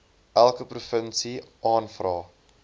elke provinsie aanvra